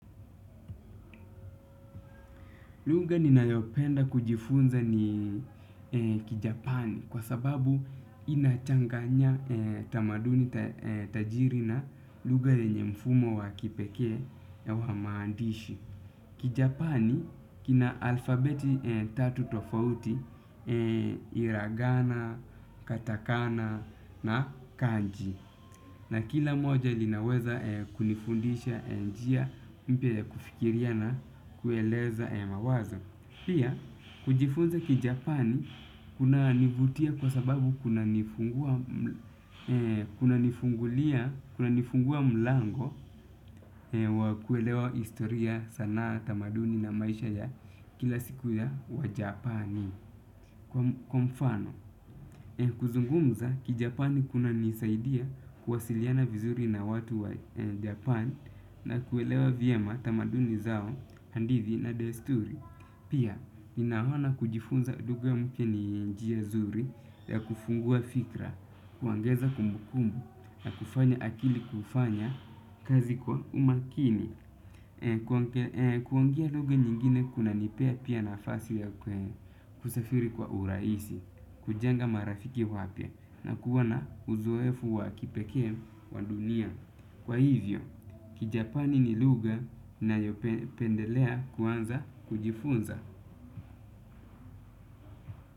Lugha ninayopenda kujifunza ni kijapani kwa sababu inachanganya tamaduni tajiri na lugha yenye mfumo wa kipekee na wa maandishi. Kijapani kina alfabeti tatu tofauti iragana, katakana na kanji na kila moja linaweza kunifundisha njia mpya ya kufikiria na kueleza mawaza. Pia, kujifunza kiJapani kuna nivutia kwa sababu kuna nifungulia kuna nifungua mlango wa kuelewa historia sanaa tamaduni na maisha ya kila siku ya wajapani. Kwa mfano, kuzungumza kijapani kuna nisaidia kuwasiliana vizuri na watu wa Japani na kuelewa vyema tamaduni zao hadithi na desturi. Pia, ninaona kujifunza lugha mpya ni njia zuri ya kufungua fikra, kuongeza kumbukumbu na kufanya akili kufanya kazi kwa umakini. Kuangia duge nyingine kuna nipea pia na fasi ya kusafiri kwa uraisi, kujanga marafiki wapia na kuwana uzoefu wa kipeke wa dunia. Kwa hivyo, kijapani ni lugha ninayopendelea kuanza kujifunza.